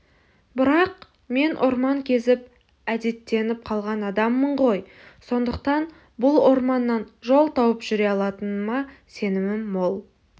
бірақ мен орман кезіп әдеттеніп қалған адаммын ғой сондықтан бұл орманнан жол тауып жүре алатыныма сенімім мол